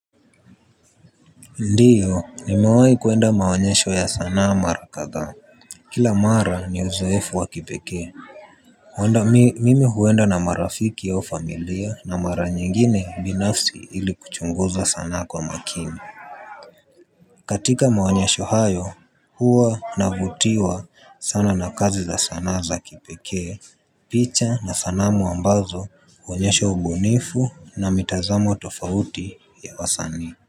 Ndio nimewahi kuenda maonyesho ya sanaa mara kadhaa. Kila mara ni uzoefu wa kipekee. Mwenda mimi huenda na marafiki au familia na mara nyingine binafsi ili kuchunguza sanaa kwa makini. Katika maonyesho hayo huwa navutiwa sana na kazi za sanaa za kipekee. Picha na sanamu ambazo huonyesha ubunifu na mitazamo tofauti ya wasanii.